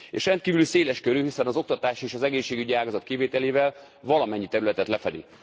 És rendkívül széles körű, hiszen az oktatás és az egészségügyi ágazat kivételével valamennyi területet lefedi.